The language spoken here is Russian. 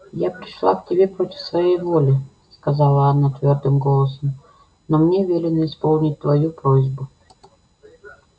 я пришла к тебе против своей воли сказала она твёрдым голосом но мне велено исполнить твою просьбу